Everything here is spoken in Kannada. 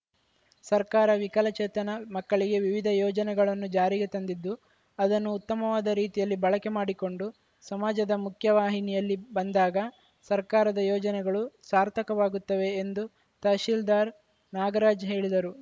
ಸರ್ಕಾರ ವಿಕಲಚೇತನ ಮಕ್ಕಳಿಗೆ ವಿವಿಧ ಯೋಜನೆಗಳನ್ನು ಜಾರಿಗೆ ತಂದಿದ್ದು ಅದನ್ನು ಉತ್ತಮವಾದ ರೀತಿಯಲ್ಲಿ ಬಳಕೆ ಮಾಡಿಕೊಂಡು ಸಮಾಜದ ಮುಖ್ಯವಾಹಿನಿಯಲ್ಲಿ ಬಂದಾಗ ಸರ್ಕಾರದ ಯೋಜನೆಗಳು ಸಾರ್ಥಕವಾಗುತ್ತವೆ ಎಂದು ತಹಸೀಲ್ದಾರ್‌ ನಾಗರಾಜ್‌ ಹೇಳಿದರು